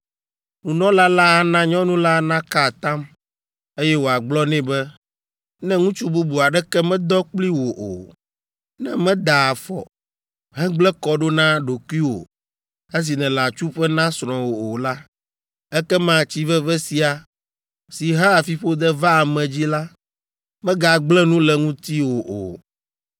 Nunɔla la ana nyɔnu la naka atam, eye wòagblɔ nɛ be, “Ne ŋutsu bubu aɖeke medɔ kpli wò o, ne mèda afɔ, hegblẽ kɔ ɖo na ɖokuiwò esi nèle atsuƒe na srɔ̃wò o la, ekema tsi veve sia, si hea fiƒode vaa ame dzi la, megagblẽ nu le ŋutiwò o.